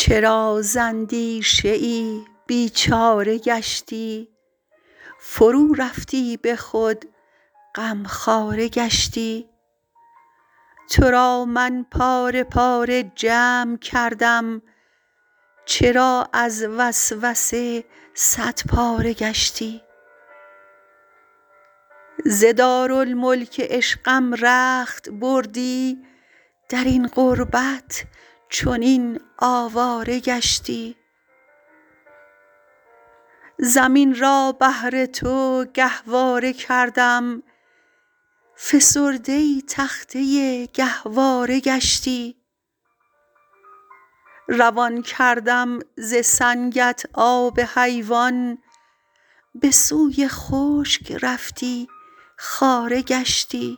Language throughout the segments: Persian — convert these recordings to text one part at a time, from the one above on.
چرا ز اندیشه ای بیچاره گشتی فرورفتی به خود غمخواره گشتی تو را من پاره پاره جمع کردم چرا از وسوسه صدپاره گشتی ز دارالملک عشقم رخت بردی در این غربت چنین آواره گشتی زمین را بهر تو گهواره کردم فسرده تخته گهواره گشتی روان کردم ز سنگت آب حیوان به سوی خشک رفتی خاره گشتی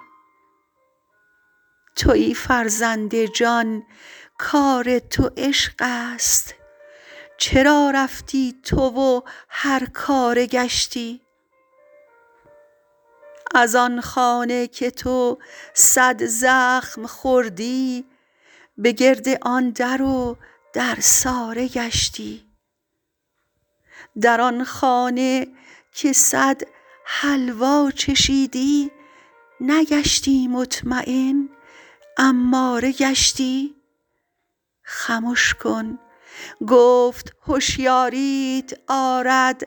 توی فرزند جان کار تو عشق است چرا رفتی تو و هرکاره گشتی از آن خانه که تو صد زخم خوردی به گرد آن در و درساره گشتی در آن خانه که صد حلوا چشیدی نگشتی مطمین اماره گشتی خمش کن گفت هشیاریت آرد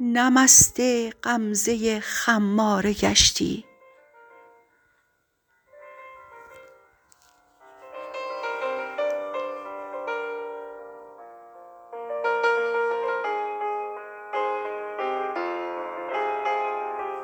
نه مست غمزه خماره گشتی